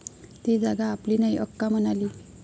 ती जागा आपली नाही, अक्का म्हणाली.